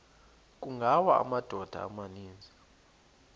kungawa amadoda amaninzi